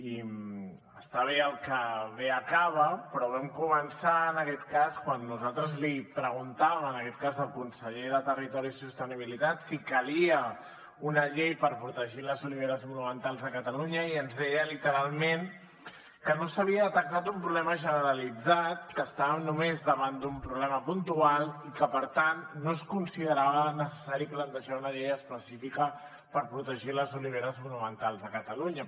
i està bé el que bé acaba però vam començar en aquest cas quan nosaltres li preguntàvem en aquest cas al conseller de territori i sostenibilitat si calia una llei per protegir les oliveres monumentals a catalunya i ens deia literalment que no s’havia detectat un problema generalitzat que estàvem només davant d’un problema puntual i que per tant no es considerava necessari plantejar una llei específica per protegir les oliveres monumentals a catalunya